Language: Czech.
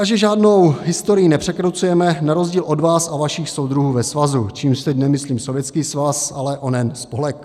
A že žádnou historii nepřekrucujeme na rozdíl od vás a vašich soudruhů ve svazu, čímž teď nemyslím Sovětský svaz, ale onen spolek.